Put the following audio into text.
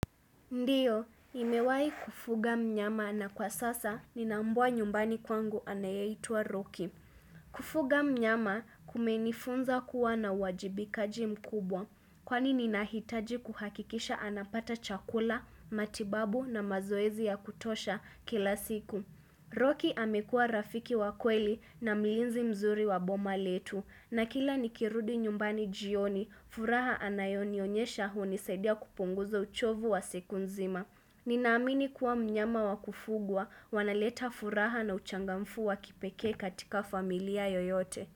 Ndiyo, nimewai kufuga mnyama na kwa sasa nina mbwa nyumbani kwangu anayeitwa Ruki. Kufuga mnyama kumenifunza kuwa na wajibikaji mkubwa. Kwani ninahitaji kuhakikisha anapata chakula, matibabu na mazoezi ya kutosha kila siku. Ruki amekua rafiki wa kweli na mlinzi mzuri wa boma letu. Na kila nikirudi nyumbani jioni, furaha anayonionyesha hunisadia kupunguza uchovu wa siku nzima. Ninaamini kuwa mnyama wa kufugwa, wanaleta furaha na uchangamfu wa kipeke katika familia yoyote.